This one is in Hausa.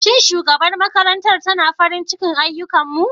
Shin shugabar makarantar tana farin ciki da ayyukanmu?